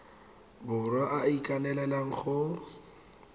borwa a a ikaelelang go